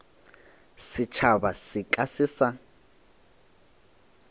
setšhaba se ka se sa